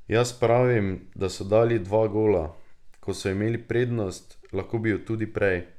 Jaz pravim, da so dali dva gola, ko so imeli prednost, lahko bi ju tudi prej.